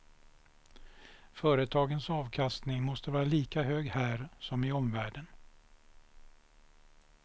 Företagens avkastning måste vara lika hög här som i omvärlden.